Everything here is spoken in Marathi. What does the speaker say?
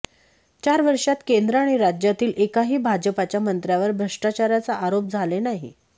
चार वर्षात केंद्र आणि राज्यातील एकाही भाजापाच्या मंत्र्यावर भ्रष्टाचाराचा आरोप झाले नाही